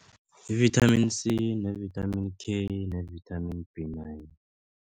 Yi-vithamini C ne-vithamini K ne-vithamini B nine.